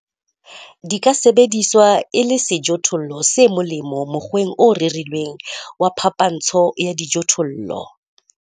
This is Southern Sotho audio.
Di ka sebediswa e le sejothollo se molemo mokgweng o rerilweng wa phapantsho ya dijothollo.